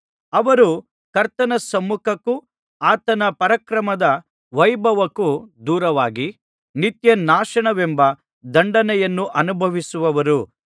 ಅವರು ಕರ್ತನ ಸಮ್ಮುಖಕ್ಕೂ ಆತನ ಪರಾಕ್ರಮದ ವೈಭವಕ್ಕೂ ದೂರವಾಗಿ ನಿತ್ಯನಾಶನವೆಂಬ ದಂಡನೆಯನ್ನು ಅನುಭವಿಸುವರು